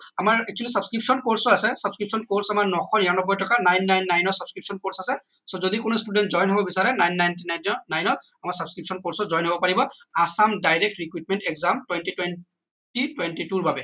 আমাৰ actually substitution course আছে substitution course আমাৰ নশ নিৰানব্বৈ টকা nine nine nine substitution course আছে so যদি কোনো student join হব বিচাৰে nine nine nine ত আমাৰ substitution course ত join হব পাৰিব assam direct recruitment exam twenty twenty twenty two ৰ বাবে